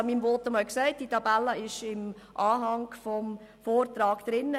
Ich habe in meinem Votum erwähnt, dass sich die diesbezügliche Tabelle im Anhang des Vortrags befindet.